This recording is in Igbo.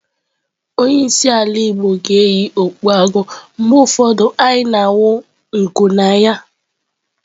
Onye isi ala igbo ga na-eyi okpu agụ, mgbe ụfọdụ anyị na-awụ nku na ya.